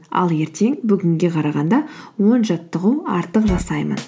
ал ертең бүгінге қарағанда он жаттығу артық жасаймын